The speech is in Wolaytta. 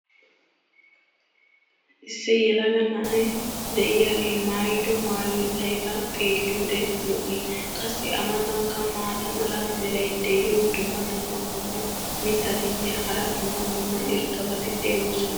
issi yelaga na"ay diyaagee maayido maayoy ayba xeeliyoode lo'ii? qassi a matankka maata mala meray diyo dumma dumma qommo mitattinne hara dumma dumma irxxabati de'oosona.